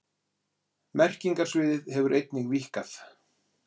Merkingarsviðið hefur einnig víkkað.